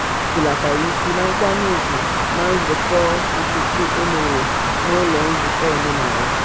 e hulatara isi na nkwanye ugwu na nzukọ nkịtị e mere n'ụlọ nzukọ omenaala.